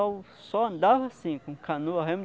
Eu só andava assim, com canoa, remo.